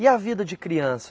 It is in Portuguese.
E a vida de criança?